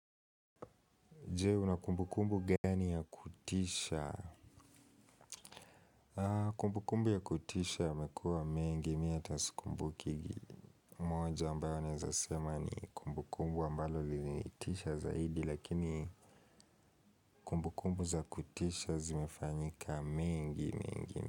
Je una kumbukumbu gani ya kutisha? Kumbu kumbu ya kutisha yamekuwa mengi mi ata sikumbukigi. Moja ambayo naeza sema ni kumbu kumbu ambalo lilinitisha zaidi lakini kumbu kumbu za kutisha zimefanyika mingi mingi.